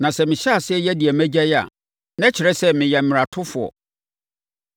Na sɛ mehyɛ aseɛ yɛ deɛ magyae a, na ɛkyerɛ sɛ meyɛ mmaratofoɔ.